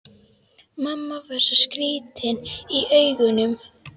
Mamma var svo skrýtin í augunum.